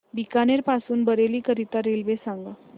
बीकानेर पासून बरेली करीता रेल्वे सांगा